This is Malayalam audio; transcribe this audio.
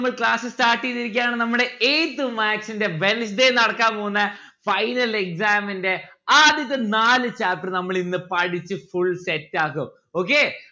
അപ്പൊൾ class start ചെയ്‌തിരിക്കുകയാണ്. നമ്മുടെ eighth maths ന്റെ wednesday നടക്കാൻ പോകുന്ന final exam ന്റെ ആദ്യത്തെ നാല് chapter നമ്മളിന്ന് പഠിച്ച് full set ആക്കും okay